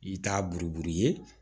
I t'a buruburu ye